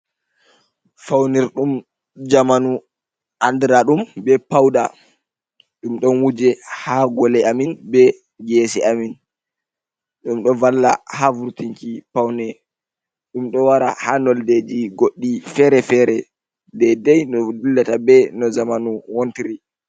Faunirɗum zamanu, andira ɗum be pauda. Ɗum ɗon wuuje haa gole amin, be geese amin. Ɗum ɗo valla haa vurtinki paune. Ɗum ɗo wara haa nonde ji goɗɗi feere-feere, daidai no dillata be no zamanu wontri.